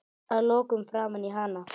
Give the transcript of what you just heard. Að lokum framan í hana.